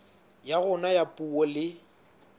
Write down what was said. ya rona ya puo le